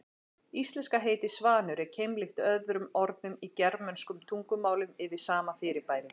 Íslenska heitið svanur er keimlíkt öðrum orðum í germönskum tungumálum yfir sama fyrirbæri.